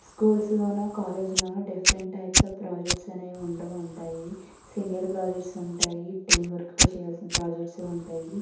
Schools లోనూ college లోనూ different types of projects అనేవి ఉంటూ ఉంటాయి సింగల్ ప్రొజెక్ట్స్ ఉంటాయి టీం వర్క్ తో చేయాల్సిన ప్రొజెక్ట్స్ ఉంటాయి.